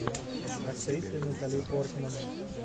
с актрисой натали портман